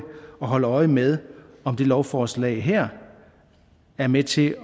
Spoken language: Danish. og holde øje med om det lovforslag her er med til